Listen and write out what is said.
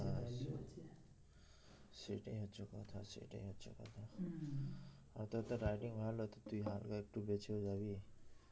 সেটাই হচ্ছে কথা সেটাই হচ্ছে কথা আর তোর তো writing ভালো তো তুই হালকা একটু বেঁচেও যাবি